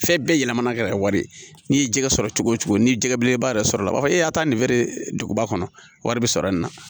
Fɛn bɛɛ yɛlɛmana ka kɛ wari ye n'i ye jɛgɛ sɔrɔ cogo cogo ni jɛgɛ belebeleba yɛrɛ sɔrɔ la a b'a fɔ e y'a ta nin feereba kɔnɔ wari bi sɔrɔ nin na